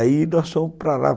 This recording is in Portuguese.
Aí nós fomos para lá.